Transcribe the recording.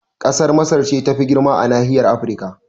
Kasar Masar ce tafi girma a nahiyar Afrika